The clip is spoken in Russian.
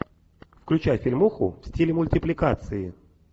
включай фильмуху в стиле мультипликации